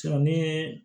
ni ye